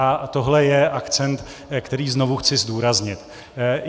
A tohle je akcent, který znovu chci zdůraznit.